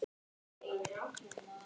Hvert ættum við að fara?